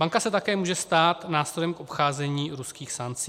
Banka se také může stát nástrojem k obcházení ruských sankcí.